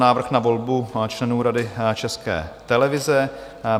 Návrh na volbu členů Rady České televize